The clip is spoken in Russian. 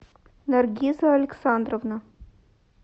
наргиза александровна